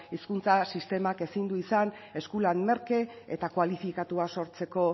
hezkuntza sistemak ezin du izan eskulan merke eta kualifikatua sortzeko